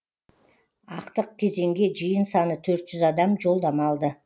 ақтық кезеңге жиын саны төрт жүз адам жолдама алды